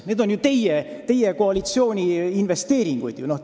Need on ju teie, koalitsiooni investeeringud!